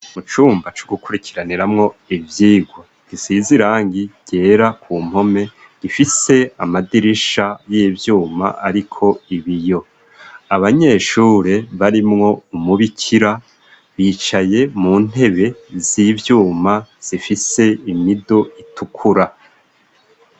Mu cumba co gukurikiraniramwo ivyigwa gisize irangi ryera ku mpome, gifise amadirisha y'ivyuma ariko ibiyo. Abanyeshuri barimwo umubikira, bicaye mu ntebe z'ivyuma zifise imido itukura.